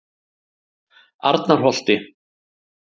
Arnarholti